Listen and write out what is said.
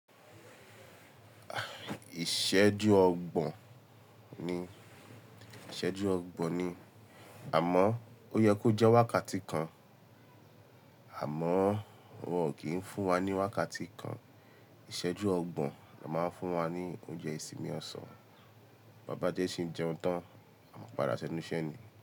Ìṣẹ́jú ọgbọ̀n ni, ìṣẹ́jú ọgbọ̀n ni àmọ́ ó yẹ kó jẹ́ wákàtí kan. Àmọ́ wọn kìí ń fún wa ní wákàtí kan. Ìṣẹ́jú ọgbọ̀n la máa ń fún wa ní oúnjẹ ìsinmi ọ̀sán. Bàbá Jẹ́sí jẹun tán, a mọ pàdá sẹ́nu iṣẹ́ ni.